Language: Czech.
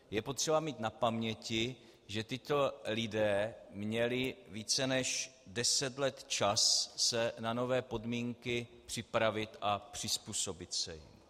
Je potřeba mít na paměti, že tito lidé měli více než deset let čas se na nové podmínky připravit a přizpůsobit se jim.